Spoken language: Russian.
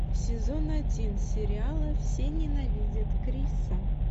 сезон один сериала все ненавидят криса